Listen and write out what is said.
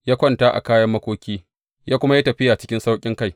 Ya kwanta a kayan makoki, ya kuma yi tafiya cikin sauƙinkai.